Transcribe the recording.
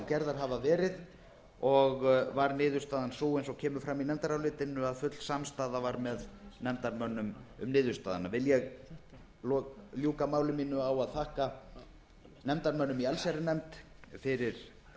gerðar hafa verið og var niðurstaðan sú eins og kemur fram í nefndarálitinu að full samstaða var með nefndarmönnum um niðurstöðuna vil ég ljúka máli mínu á að þakka nefndarmönnum í allsherjarnefnd fyrir